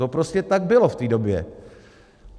To prostě tak bylo v té době.